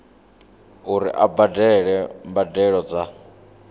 uri a badele mbadelo dza